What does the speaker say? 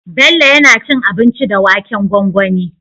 Bello yAna cin abinci da waken gwangwani